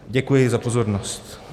Děkuji za pozornost.